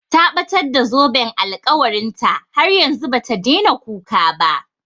Ta ɓatar da zoben alkawarin ta, har yanzu bata daina kuka ba